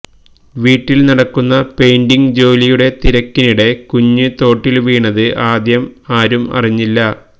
വീട്ടിൽ നടക്കുന്ന പെയിന്റിങ് ജോലിയുടെ തിരക്കിനിടെ കുഞ്ഞ് തോട്ടിൽ വീണത് ആദ്യം ആരും അറിഞ്ഞില്ല